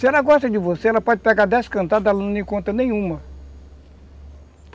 Se ela gosta de você, ela pode pegar dez cantadas, ela não te conta nenhuma.